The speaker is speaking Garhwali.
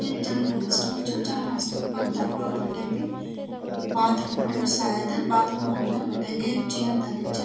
एक जनरल स्टोर च जनरला स्टोर पर तरफा भटे भी बाथरूम बण्यू शायद बाथरूम मा अग्ने बटै ऐक चेयर धरी च।